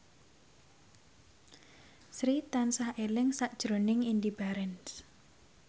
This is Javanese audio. Sri tansah eling sakjroning Indy Barens